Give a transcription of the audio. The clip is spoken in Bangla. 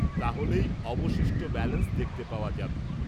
তাহলেই অবশিষ্ট ব্যালান্স দেখতে পাওয়া যাবে।